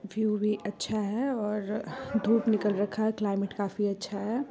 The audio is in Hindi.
व्यू भी अच्छा है और धूप निकल रखा है क्लाइमेट काफी अच्छा है।